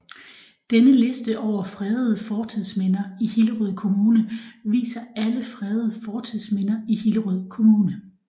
Denne liste over fredede fortidsminder i Hillerød Kommune viser alle fredede fortidsminder i Hillerød Kommune